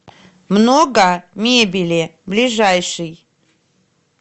много мебели ближайший